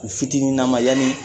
U fitininaman yani